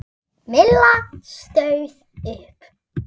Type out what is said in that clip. Milla stóð upp.